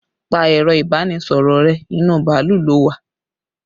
Pa ẹ̀rọ ibanisoro rẹ, inú bàálù lo wà!